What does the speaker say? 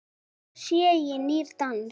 Þetta sé nýr dans.